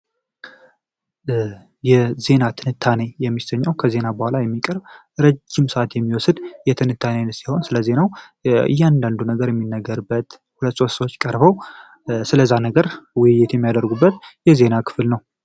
የዜና ትንታኔ የሚሰጠው ከዜና በኋላ ረጅም ሰዓት በመውሰድ ሲሆን ስለዚህ ነው እያንዳንዱ ነገር የሚነገረው ነገር ሁለት ሶስት ሰዎች ቀርበው ስለዛ ነገር ውይይት የሚያደርጉበት የዜና ክፍል ነው።